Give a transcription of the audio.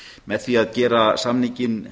með því að gera samninginn